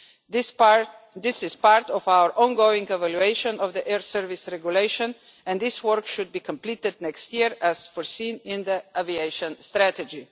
This is part of our ongoing evaluation of the air service regulation and this work should be completed next year, as foreseen in the Aviation Strategy.